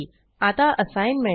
आता असाईनमेंट